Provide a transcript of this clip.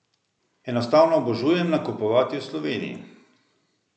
Enostavno obožujem nakupovati v Sloveniji.